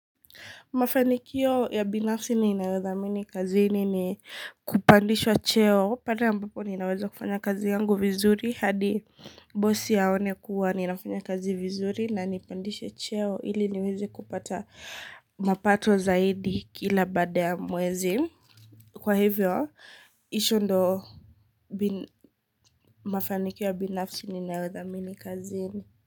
Mafanikio ya binafsi ninayodhamini kazini ni kupandishwa cheo pale ambapo ninaweza kufanya kazi yangu vizuri. Hadi bosi aone kuwa ninafanya kazi vizuri na anipandishe cheo. Hili niweze kupata mapato zaidi kila baada ya mwezi. Kwa hivyo, iyo ndo mafanikio ya binafsi ninayodhamini kazi ini.